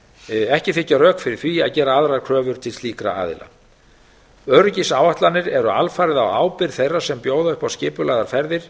öryggisáætlanir ekki þykja rök fyrir því að gera aðrar kröfur til slíkra aðila öryggisáætlanir eru alfarið á ábyrgð þeirra sem bjóða upp á skipulagðar ferðir